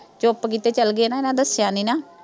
ਚੁੱਪ ਕੀਤੇ ਚਲ ਗੇ, ਇਨ੍ਹਾਂ ਨੇ ਦੱਸਿਆ ਨੀਂ ਨਾ।